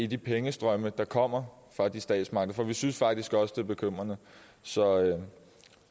de pengestrømme der kommer fra de statsmagter for vi synes faktisk også det er bekymrende så